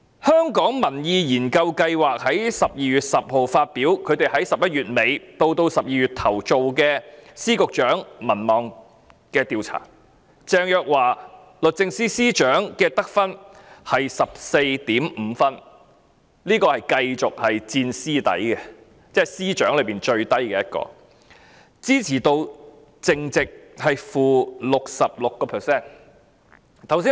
香港民意研究所在12月10日發表在11月底至12月初進行對特首及問責司局長民望的調查結果，鄭若驊律政司司長的得分，是 14.5 分，她仍是問責司局長中得分最低，支持度淨值是 -66%。